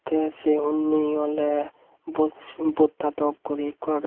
teh seh unni oleh bos botta dok gori ekko agey.